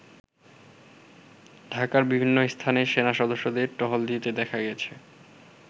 ঢাকার বিভিন্ন স্থানে সেনা সদস্যদের টহল দিতে দেখা গেছে।